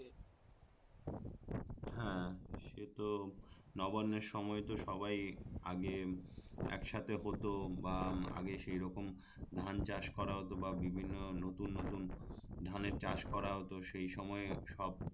হ্যাঁ সেটা তো নবান্নের সময় সবাই আগে একসাথে হতো বা আগে সেই রকম ধান চাষ করা হতো বা বিভিন্ন নতুন নতুন ধানের চাষ করা হতো সেই সময়ে সব